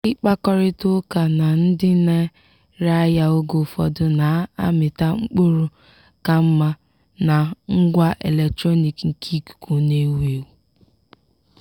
ịkpakọrịta ụka na ndị na-ere ahịa oge ụfọdụ na-amịta mkpụrụ ka mma na ngwa eletronik nke ikuku na-ewu ewu.